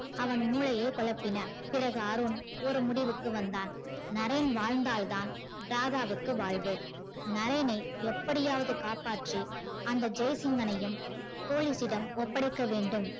அவன் மூளையை கொலப்பின. பிறகு அருண் ஒரு முடிவுக்கு வந்தான் நரேன் வாழ்ந்தால் தான் ராதாவுக்கு வாழ்வு நரேனை எப்படியாவது காப்பாற்றி அந்த ஜெய்சிங்கனையும் police யிடம் ஒப்படைக்க வேண்டும்